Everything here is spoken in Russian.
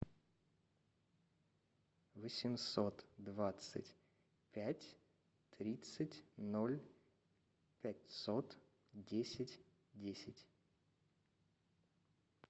восемьсот двадцать пять тридцать ноль пятьсот десять десять